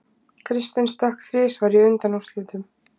Kristinn stökk þrisvar í undanúrslitunum